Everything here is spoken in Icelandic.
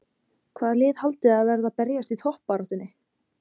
Hvaða lið heldurðu að verði að berjast í toppbaráttunni?